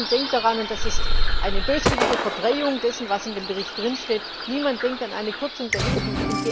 sind. Niemand denkt daran und das ist eine böswillige Verdrehung dessen, was in dem Bericht steht niemand denkt an eine Kürzung der